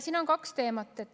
Siin on kaks teemat.